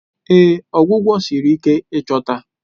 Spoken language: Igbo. Ee, ọgwụgwọ siri ike ịchọta